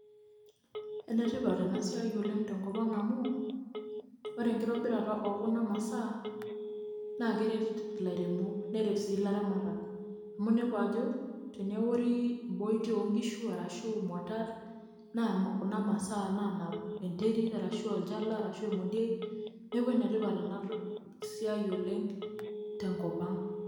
ene tipat ena siai oleng tenkop ang amu ore enkitobirata oo kuna masaa, naa keret ilairemok neret siii ilaramatak. amu inepu ajo, teneori imboitie oo nkishu ashu imuatat, naa kuna masaa naanap enterit, arashu olchala, arashu emeodiei, neeku ene tipat ena siai oleng te nkop ang.